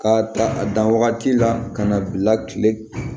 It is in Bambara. K'a ta a dan wagati la ka na bila kile